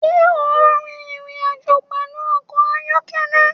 Ṣé ò ń rin ìrìn-àjò pẹ̀lú ọkọ̀ ayọ́kẹ́lẹ́?